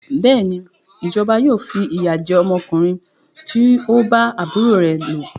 Bẹ́ẹ̀ni, ìjọba yóò fi ìyà jẹ ọmọkùnrin tí o bá àbúrò rẹ lò.